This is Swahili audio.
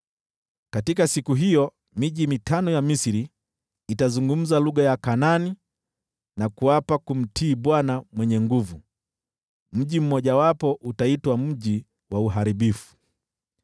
Katika siku hiyo miji mitano ya Misri, itazungumza lugha ya Kanaani, na kuapa kumtii Bwana Mwenye Nguvu Zote. Mji mmojawapo utaitwa Mji wa Uharibifu.